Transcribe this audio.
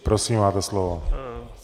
Prosím, máte slovo.